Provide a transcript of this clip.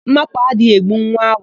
Ḿmápụ̀ adịghị egbu nwa awọ